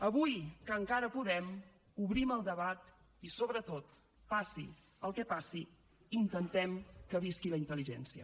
avui que encara podem obrim el debat i sobretot passi el que passi intentem que visqui la intel·ligència